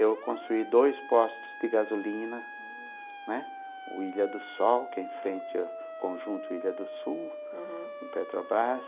Eu construí dois postos de gasolina, né, o Ilha do Sol, que é em frente ao conjunto Ilha do Sul, uhum, no Petrobras.